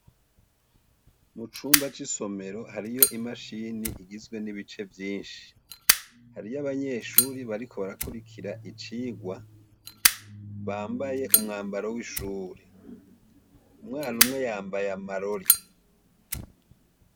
Mucumba c'isomero hariyo imashini igizwe n'ibice vyinshi, hariyo abanyeshure bariko barakurikira icirwa, bambaye umwambaro w'ishuri, umwana umwe yambaye amarori.